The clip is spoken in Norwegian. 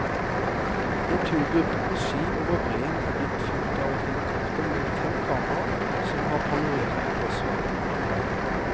En turgruppe på ski over breen er blitt fulgt av et helikopter med fem kameraer som har panorert på kloss hold.